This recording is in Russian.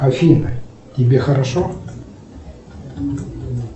афина тебе хорошо